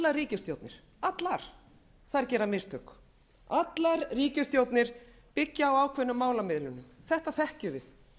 völd allar ríkisstjórnir gera mistök allar ríkisstjórnir byggja á ákveðnum málamiðlunum þetta þekkjum við